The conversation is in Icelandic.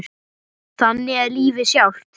Þannig er lífið sjálft.